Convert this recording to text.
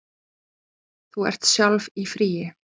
Þú ert sjálf í fríi.